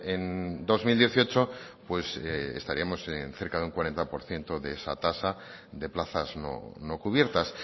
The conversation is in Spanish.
en dos mil dieciocho pues estaríamos en cerca de un cuarenta por ciento de esa tasa de plazas no cubiertas